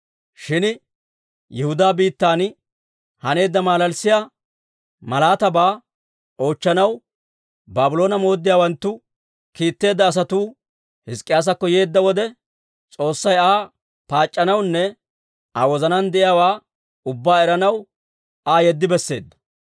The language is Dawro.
Shin Yihudaa biittan haneedda malalissiyaa malaataabaa oochchanaw Baabloone mooddiyaawanttu kiitteedda asatuu Hizk'k'iyaasakko yeedda wode, S'oossay Aa paac'c'anawunne Aa wozanaan de'iyaawaa ubbaa eranaw Aa yeddi besseedda.